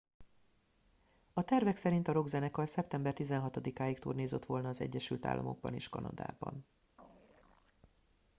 a tervek szerint a rockzenekar szeptember 16 ig turnézott volna az egyesült államokban és kanadában